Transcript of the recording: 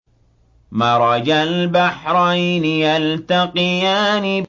مَرَجَ الْبَحْرَيْنِ يَلْتَقِيَانِ